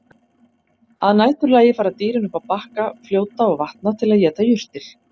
Að næturlagi fara dýrin upp á bakka fljóta og vatna til að éta jurtir.